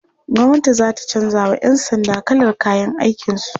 Gwamnati za ta canjawa'yan sanda kalar kayan aikinsu.